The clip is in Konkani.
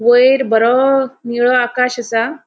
वैर बोरो निळो आकाश असा.